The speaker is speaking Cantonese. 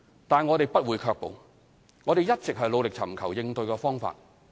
但是，我們不會卻步，我們一直尋求應對方法。